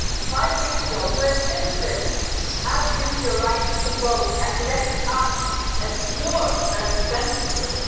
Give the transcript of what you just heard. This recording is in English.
Five weeks ago you as citizens used your right to vote and elected us as your representatives.